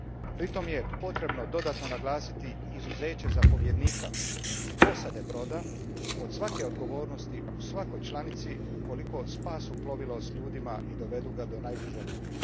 Pritom je potrebno dodatno naglasiti izuzeće zapovjednika i posade broda od svake odgovornosti u svakoj članici ukoliko spase plovilo s ljudima i dovedu ga do najbliže luke.